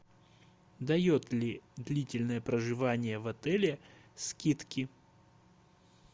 дает ли длительное проживание в отеле скидки